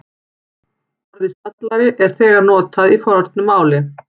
Orðið stallari er notað þegar í fornu máli.